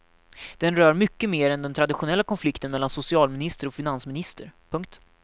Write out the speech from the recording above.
Den rör mycket mer än den traditionella konflikten mellan socialminister och finansminister. punkt